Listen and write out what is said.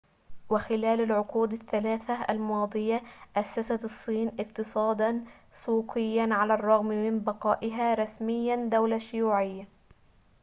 وخلال العقود الثلاثة الماضية أسست الصين اقتصاداً سوقياً على الرغم من بقائها رسمياً دولة شيوعية